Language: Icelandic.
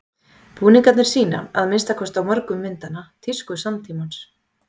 Búningarnir sýna, að minnsta kosti á mörgum myndanna, tísku samtímans.